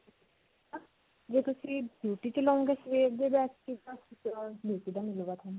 ਜੇ ਤੁਸੀਂ beauty 'ਚ ਲਵੋਗੇ ਦਾ ਮਿਲੁਗਾ ਤੁਹਾਨੂੰ.